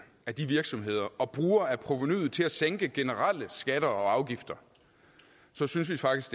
af de virksomheder og bruger af provenuet til at sænke generelle skatter og afgifter så synes vi faktisk